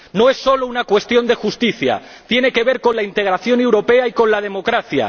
No es solo una cuestión de justicia tiene que ver con la integración europea y con la democracia.